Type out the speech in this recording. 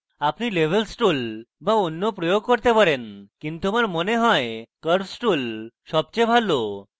আপনি levels tool বা অন্য প্রয়োগ করতে পারেন কিন্তু আমার মনে you আমার জন্য curves tool সবচেয়ে ভালো